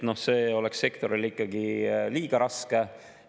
See oleks sektorile ikkagi liiga raske.